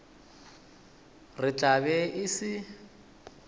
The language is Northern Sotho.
re tla be e se